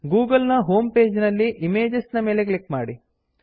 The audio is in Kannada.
ಗೂಗಲ್ ನ ಹೋಂ ಪೇಜ್ ನಲ್ಲಿ ಇಮೇಜಸ್ ಇಮೇಜಸ್ ನ ಮೇಲೆ ಕ್ಲಿಕ್ ಮಾಡಿ